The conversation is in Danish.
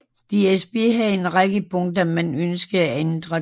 DSB havde en række punkter man ønskede ændret